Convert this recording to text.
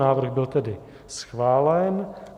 Návrh byl tedy schválen.